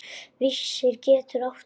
Vísir getur átt við